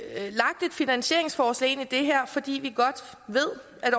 finansieringsforslag ind i det her fordi vi godt ved at